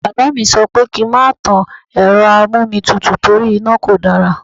Bàbá mi sọ pé kí n má tan Ẹ̀rọ amómitutù torí iná kò dára.